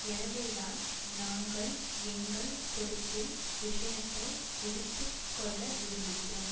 எனவேதான் நாங்கள் எங்கள் பொறுப்பில் விஷயத்தை எடுத்து கொள்ள விரும்புகிறோம்